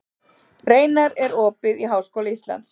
Reinar, er opið í Háskóla Íslands?